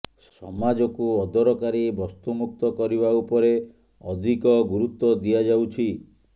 ସମାଜକୁ ଅଦରକାରୀ ବସ୍ତୁ ମୁକ୍ତ କରିବା ଉପରେ ଅଧିକ ଗୁରୁତ୍ୱ ଦିଆଯାଉଛି